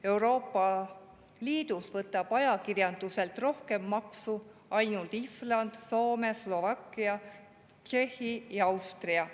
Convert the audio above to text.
Euroopa Liidus võtavad ajakirjanduselt rohkem maksu ainult Island, Soome, Slovakkia, Tšehhi ja Austria.